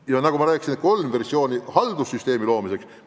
Ja nagu ma rääkisin, on kolm versiooni haldussüsteemi loomiseks.